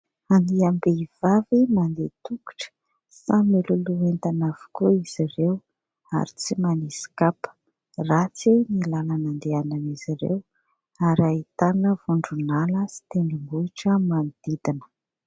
Andiam-behivavy mandeha an-tongotra, samy miloloha entana avokoa izy ireo ary tsy manisy kapa. Ratsy ny lalana andehanan'izy ireo ary ahitana vondron'ala sy tendrombohitra manodidina.